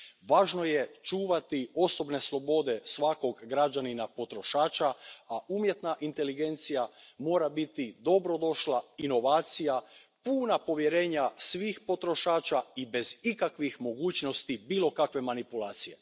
Važno je čuvati osobne slobode svakoga građanina potrošača, a umjetna inteligencija mora biti dobrodošla inovacija puna povjerenja svih potrošača i bez ikakvih mogućnosti bilo kakve manipulacije.